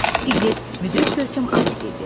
Piklet müdrik görkəm alıb dedi.